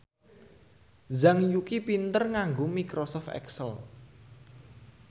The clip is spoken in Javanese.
Zhang Yuqi pinter nganggo microsoft excel